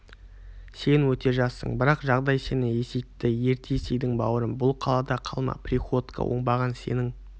сен өте жассың бірақ жағдай сені есейтті ерте есейдің бауырым бұл қалада қалма приходько оңбаған сенің